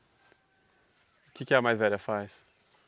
O que que a mais velha faz?